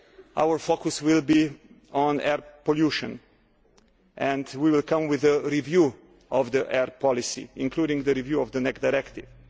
year our focus will be on air pollution, and we will come with a review of the air policy, including a review of the NEC Directive.